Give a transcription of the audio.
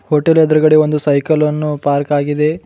Hotel ಎದ್ರುಗಡೆ ಒಂದು cycle ಅನ್ನು ಪಾರ್ಕ್ ಆಗಿದೆ.